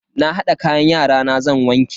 Na hada kayan yarana zan wanke.